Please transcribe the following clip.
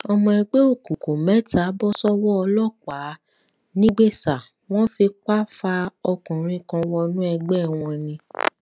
ọmọ ẹgbẹ òkùnkùn mẹta bọ sọwọ ọlọpàá nìgbésa wọn fipá fa ọkùnrin kan wọnú ẹgbẹ wọn ni